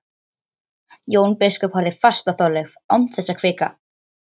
Jón biskup horfði fast á Þorleif án þess að hvika.